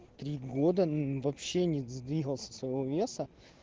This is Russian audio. три года мм вообще не сдвигался со своего веса